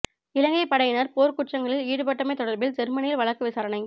இலங்கை படையினர் போர் குற்றங்களில் ஈடுபட்டமை தொடர்பில் ஜெர்மனியில் வழக்கு விசாரணை